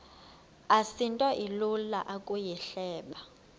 asinto ilula ukuyihleba